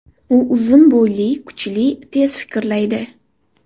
U uzun bo‘yli, kuchli, tez fikrlaydi.